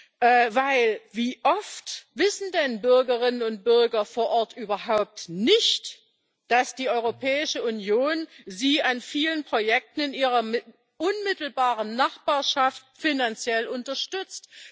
Denn wie oft wissen die Bürgerinnen und Bürger vor Ort überhaupt nicht, dass die Europäische Union sie an vielen Projekten in ihrer unmittelbaren Nachbarschaft finanziell unterstützt?